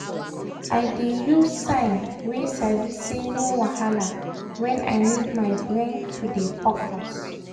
i dey use sign wey sabi say 'no wahala' when i need my brain to dey focus.